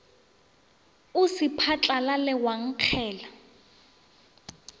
o se phatlalale wa nkgela